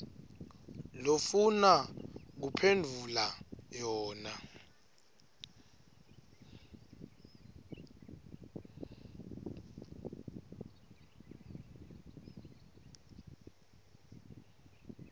lofuna kuphendvula yona